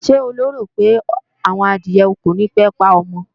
Ṣé o lérò pé àwọn adìẹ kònípé pa ọmọ?